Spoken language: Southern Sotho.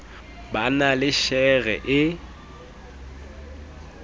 ba na le shere e